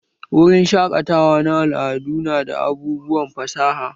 Wurin shaƙatawa na al'adu nada abubuwan fasaha